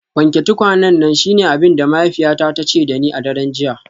Wanke tukwanen nan shine abin da mahaifiyata ta ce da ni a daren jiya.